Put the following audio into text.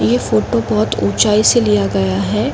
ये फोटो बहुत ऊंचाई से लिया गया है।